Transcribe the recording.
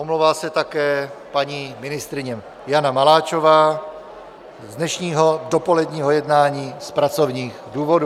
Omlouvá se také paní ministryně Jana Maláčová z dnešního dopoledního jednání z pracovních důvodů.